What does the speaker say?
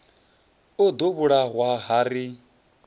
o ḓo vhulawa ha ri